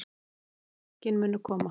Mörkin munu koma